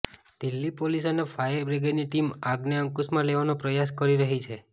Delhi police અને fire બ્રિગેડની team આગને અંકુશમાં લેવાનો પ્રયાસ કરી રહી છે